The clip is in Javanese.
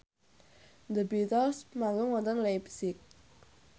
The Beatles manggung wonten leipzig